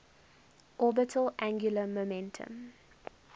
orbital angular momentum